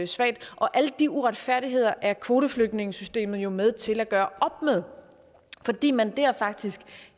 svagt alle de uretfærdigheder er kvoteflygtningesystemet jo med til at gøre op med fordi man der faktisk